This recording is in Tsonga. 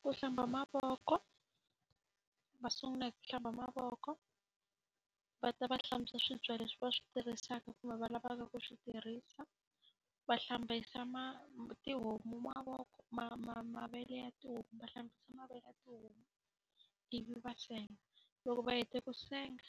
Ku hlamba mavoko, va sungula hi ku hlamba mavoko. Va ta va hlantswa swibye leswi va swi tirhisaka kumbe va lavaka ku swi tirhisa, va hlambisa mati homu mavele ya tihomu va hlambisa mavele tihomu ivi va senga. Loko va heta ku senga,